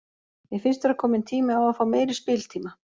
Mér finnst vera kominn tími á að fá meiri spiltíma